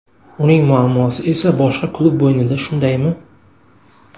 Uning muammosi esa boshqa klub bo‘ynida shundaymi?